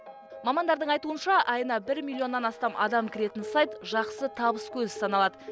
мамандардың айтуынша айына бір миллионнан астам адам кіретін сайт жақсы табыс көзі саналады